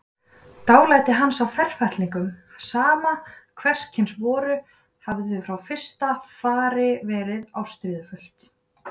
Dálæti hans á ferfætlingum, sama hverskyns voru, hafði frá fyrsta fari verið ástríðufullt.